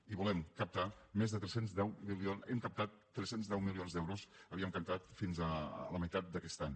i volem captar més de tres cents i deu milions hem captat tres cents i deu milions d’euros els havíem captat fins a la meitat d’aquest any